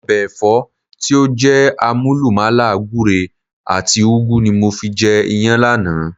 Ọbẹ̀ Ẹ̀fọ́ tí ó jé àmúlùmàlà gùre and ùgu ni mo fi jẹ Iyán lánàá